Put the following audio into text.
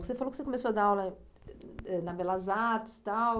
Você falou que você começou a dar aula ãh na Belas Artes e tal.